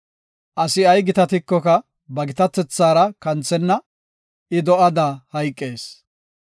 Asi ay gitatikoka ba gitatethaara kanthenna; I do7ada hayqees.